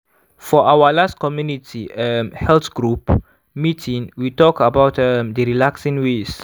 for our last community um health group meeting we talk about um d relaxing ways.